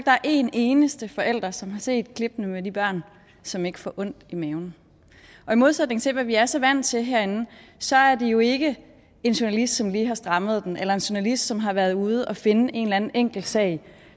er en eneste forælder som har set klippene med de børn som ikke får ondt i maven og i modsætning til hvad vi er så vant til herinde så er det jo ikke en journalist som lige har strammet den eller en journalist som har været ude at finde en eller anden enkeltsag